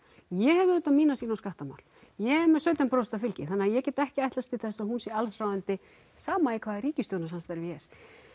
ég hef auðvitað mína sýn á skattamál ég er með sautján prósent fylgi þannig ég get ekki ætlast til þess að hún sé alls ráðandi sama í hvaða ríkisstjórnarsamstarfi ég er